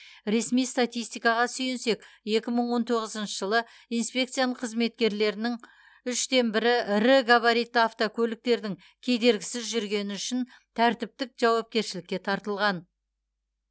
ресми статистикаға сүйенсек екі мың он тоғызыншы жылы инспекцияның қызметкерлерінің үштен бірі ірі габаритті автокөліктердің кедергісіз жүргені үшін тәртіптік жауапкершілікке тартылған